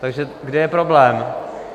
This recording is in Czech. Tak kde je problém?